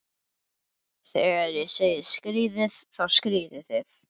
Þegar ég segi skríðið, þá skríðið þið.